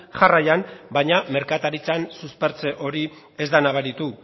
jarraian baina merkataritzan suspertze hori ez da nabaritu